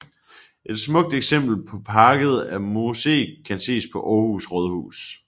Et smukt eksempel på parket af moseeg kan ses på Århus Rådhus